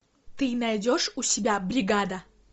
ты найдешь у себя бригада